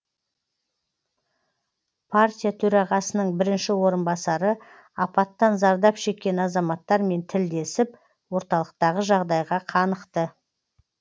партия төрағасының бірінші орынбасары апаттан зардап шеккен азаматтармен тілдесіп орталықтағы жағдайға қанықты